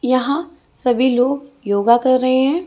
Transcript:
यहां सभी लोग योगा कर रहे हैं।